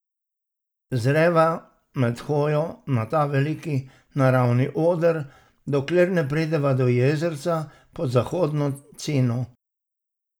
Zreva med hojo na ta veliki naravni oder, dokler ne prideva do jezerca pod Zahodno Cino.